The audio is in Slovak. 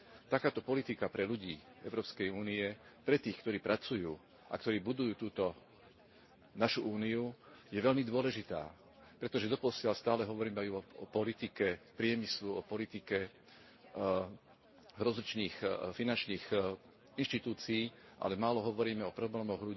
Takáto politika pre ľudí Európskej únie, pre tých, ktorí pracujú a ktorí budujú túto našu Úniu, je veľmi dôležitá, pretože doposiaľ stále hovoríme iba o politike priemyslu, o politike rozličných finančných inštitúcií, ale málo hovoríme o problémoch